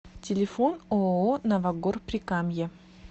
телефон ооо новогор прикамье